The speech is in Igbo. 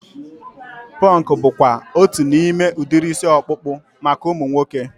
Punk bụkwa otu n'ime udiri isi ọkpụkpụ maka ụmụ nwoke